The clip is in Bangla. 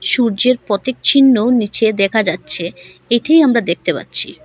সূর্যের প্রতীক চিহ্ন নিচে দেখা যাচ্ছে এটিই আমরা দেখতে পাচ্ছি।